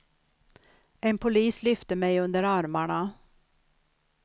En polis lyfte mig under armarna.